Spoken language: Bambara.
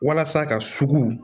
Walasa ka sugu